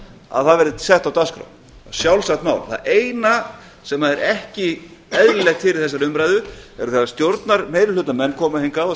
að það verði sett á dagskrá sjálfsagt mál það eina sem er ekki eðlilegt hér í þessari umræðu er þegar stjórnarmeirihlutamenn koma hingað og